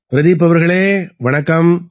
பிரதீப் அவர்களே வணக்கம்